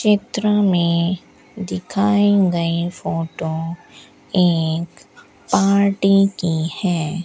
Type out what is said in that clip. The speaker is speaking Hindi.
चित्र में दिखाई गई फोटो एक पार्टी की है।